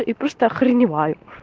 и просто охреневаю